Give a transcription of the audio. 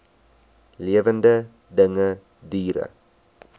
lewende dinge diere